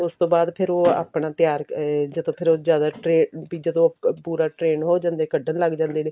ਉਸ ਤੋਂ ਬਾਅਦ ਫਿਰ ਉਹ ਆਪਣਾ ਤਿਆਰ ਅਹ ਜਦੋਂ ਫਿਰ ਉਹ ਜ਼ਿਆਦਾ train ਵੀ ਜਦੋਂ ਪੂਰਾ trained ਹੋ ਜਾਂਦੇ ਕੱਢਣ ਲੱਗ ਜਾਂਦੇ ਨੇ